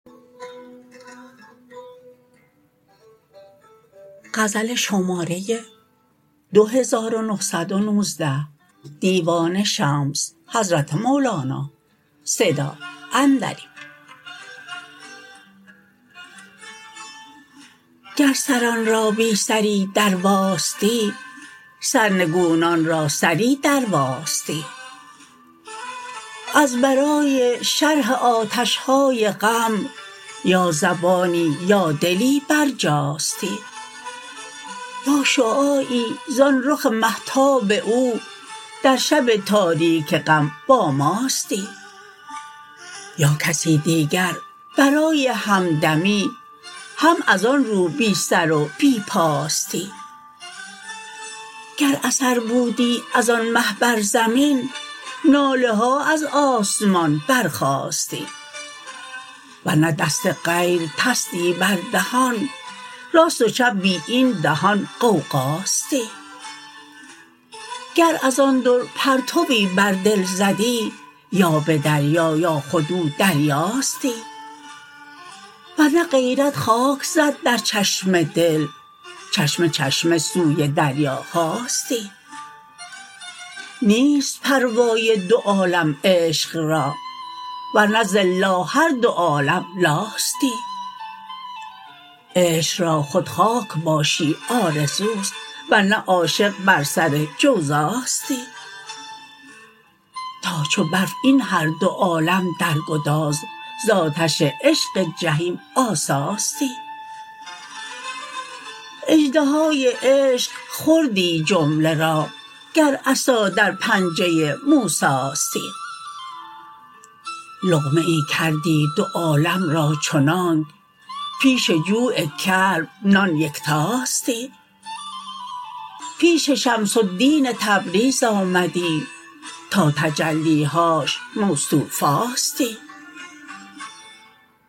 گر سران را بی سری درواستی سرنگونان را سری درواستی از برای شرح آتش های غم یا زبانی یا دلی برجاستی یا شعاعی زان رخ مهتاب او در شب تاریک غم با ماستی یا کسی دیگر برای همدمی هم از آن رو بی سر و بی پاستی گر اثر بودی از آن مه بر زمین ناله ها از آسمان برخاستی ور نه دست غیر تستی بر دهان راست و چپ بی این دهان غوغاستی گر از آن در پرتوی بر دل زدی یا به دریا یا خود او دریاستی ور نه غیرت خاک زد در چشم دل چشمه چشمه سوی دریاهاستی نیست پروای دو عالم عشق را ور نه ز الا هر دو عالم لاستی عشق را خود خاک باشی آرزو است ور نه عاشق بر سر جوزاستی تا چو برف این هر دو عالم در گداز ز آتش عشق جحیم آساستی اژدهای عشق خوردی جمله را گر عصا در پنجه موساستی لقمه ای کردی دو عالم را چنانک پیش جوع کلب نان یکتاستی پیش شمس الدین تبریز آمدی تا تجلی هاش مستوفاستی